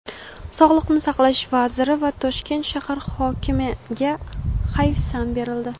Sog‘liqni saqlash vaziri va Toshkent shahar hokimiga hayfsan berildi.